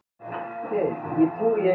Ég var í miklu uppnámi.